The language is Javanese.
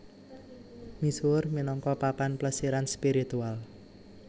Misuwur minangka papan plesiran spiritual